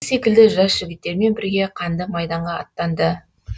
өзі секілді жас жігіттермен бірге қанды майданға аттанды